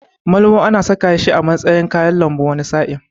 Malmo ana saka shi a matsayin kayan lambu wani sa'in.